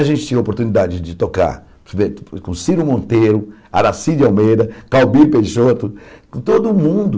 A gente tinha oportunidade de tocar instrumento com Ciro Monteiro, Aracide Almeida, Calbir Peixoto, com todo mundo.